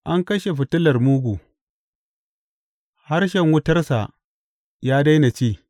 An kashe fitilar mugu; harshen wutarsa ya daina ci.